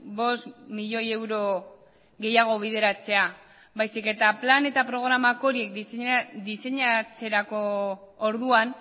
bost milioi euro gehiago bideratzea baizik eta plan eta programa horiek diseinatzerako orduan